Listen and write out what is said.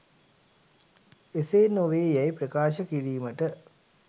එසේ නොවේ යැයි ප්‍රකාශ කිරීමට